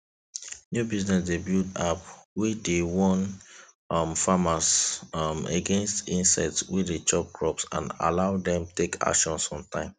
new business dey build app wey dey warn um farmers um against insects wey de chop crops and allow dem take action on time